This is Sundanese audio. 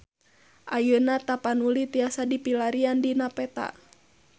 Ayeuna Tapanuli tiasa dipilarian dina peta